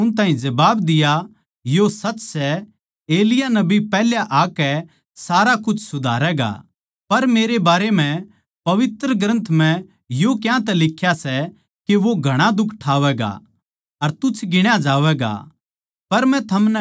यीशु नै उन ताहीं जबाब दिया यो सच सै एलिय्याह नबी पैहल्या आकै सारा कुछ सुधारैगा पर मेरे बारें म्ह पवित्र ग्रन्थ म्ह यो क्यांतै लिख्या सै के वो घणा दुख ठावैगा अर तुच्छ गिण्या जावैगा